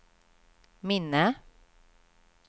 minne